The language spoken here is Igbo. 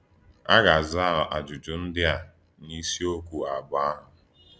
À gà-àzà àjụ́jụ́ ndí à n’ísìọ̀kwú àbọ̀ àhụ̀.